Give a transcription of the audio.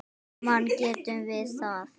Saman getum við það.